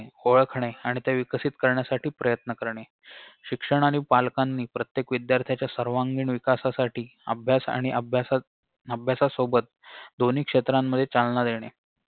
ओळखणे आणि त्या विकसित करण्यासाठी प्रयत्न करणे शिक्षक आणि पालकांनी प्रत्येक विद्यार्थ्यांच्या सर्वांगीण विकासासाठी अभ्यास आणि अभ्यासास अभ्यासासोबत दोन्ही क्षेत्रांमध्ये चालना देणे